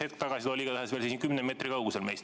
Hetk tagasi ta oli igatahes veel kümne meetri kaugusel meist.